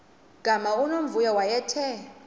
gama unomvuyo wayethe